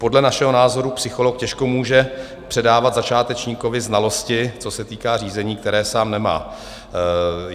Podle našeho názoru psycholog těžko může předávat začátečníkovi znalosti, co se týká řízení, které sám nemá.